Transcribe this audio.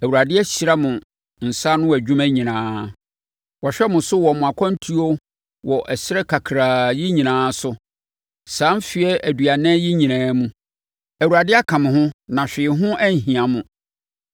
Awurade ahyira mo nsa ano nnwuma nyinaa. Wahwɛ mo so wɔ mo akwantuo wɔ ɛserɛ kakraa yi nyinaa so. Saa mfeɛ aduanan yi nyinaa mu, Awurade aka mo ho na hwee ho anhia mo.